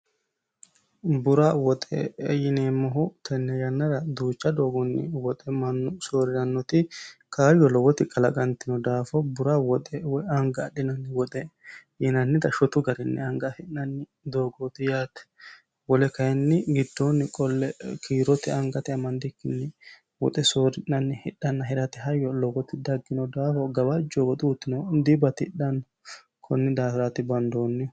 Bura woxeeti yine woshineemmohu addi addi garinni suuqirino manchi babbaxewo garinni amaddino woxe woyi kiisete amande fullanni woxeeti yaate.